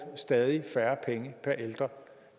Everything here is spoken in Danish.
stadig færre penge per ældre